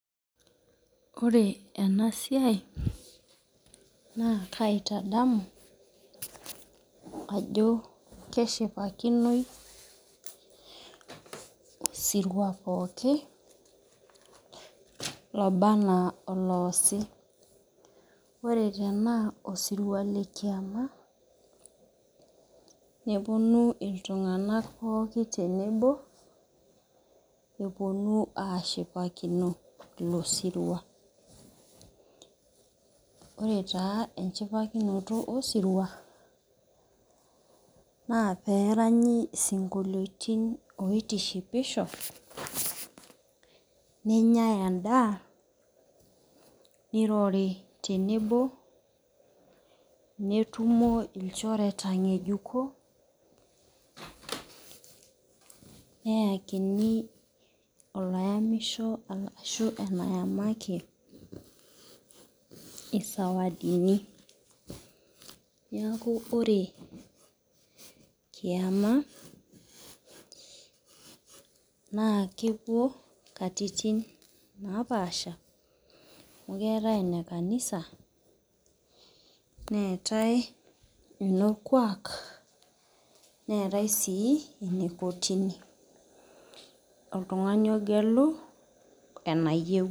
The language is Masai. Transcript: Ore ena siai naa kaitadamu ajo keshipakinoi osirua pookin lobaa enaa oloshi. Ore tenaa osirua le kiama neponu iltunganak pookin tenebo eponu ashipakino ilo sirua. Ore taa echipakinoto osirua naa pee eranyi isikoliotin otishipisho nenyae endaa, nirori tenebo netumo ilchoreta ngejuko neyakini olayamisho ashu eyamaki isawadini. Neaku ore kiama naa kepuo inkatitin naapasha amu ketae enekanisa netae enorkuak netae sii kotini oltungani ogelu enayieu.